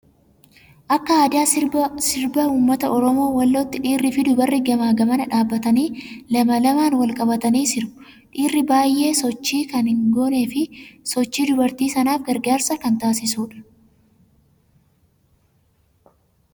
Akka aadaa sirba uummata oromoo wallootti dhiirrii fi dubarri gamaa gamana dhaabbatanii lama lamaan wal qabatanii sirbu. Dhiirri baay'ee sochii kan hin goonee fi sochii dubartii sanaaf gargaarsa kan taasisudha.